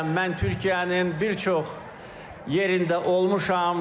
Mən Türkiyənin bir çox yerində olmuşam.